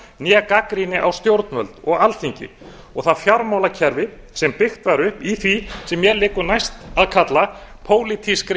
né gagnrýni á stjórnvöld og alþingi og það fjármálakerfi sem byggt var upp í því sem mér liggur næst að kalla pólitískri